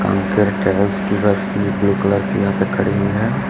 की बस ये blue colour यहां पे हुई खड़ी है।